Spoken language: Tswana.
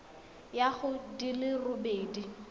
ya go di le robedi